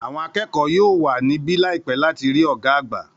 Àwọn akẹ́kọ̀ọ́ yóò wà níbí láìpẹ́ láti rí ọ̀gá àgbà.